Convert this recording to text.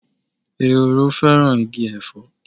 Ehoro fẹ́ràn igi Ẹ̀fọ́.